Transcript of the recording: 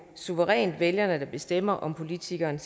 suverænt vælgerne der bestemmer om politikeren